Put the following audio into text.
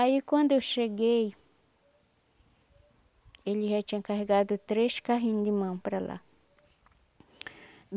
Aí quando eu cheguei, ele já tinha carregado três carrinhos de mão para lá.